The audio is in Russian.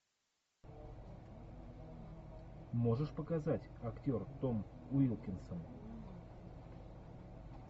можешь показать актер том уилкинсон